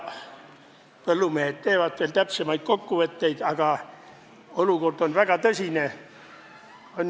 Põllumehed alles teevad täpsemaid kokkuvõtteid, aga olukord on väga tõsine.